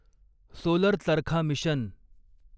solar charkha mission